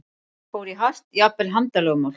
Fór í hart, jafnvel handalögmál?